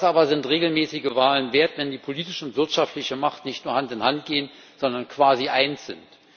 Was aber sind regelmäßige Wahlen wert, wenn die politische und wirtschaftliche Macht nicht nur Hand in Hand gehen, sondern quasi eins sind?